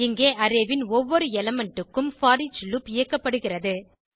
இங்கே அரே ன் ஒவ்வொரு எலிமெண்ட் க்கும் போரிச் லூப் இயக்கப்படுகிறது